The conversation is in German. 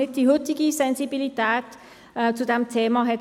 Möchte Herr Schnegg gerne noch das Wort ergreifen?